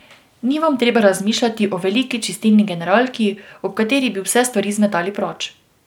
Ni vam treba razmišljati o veliki čistilni generalki, ob kateri bi vse stvari zmetali proč.